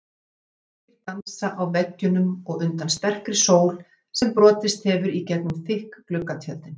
Ljósir flekkir dansa á veggjunum undan sterkri sól sem brotist hefur í gegnum þykk gluggatjöldin.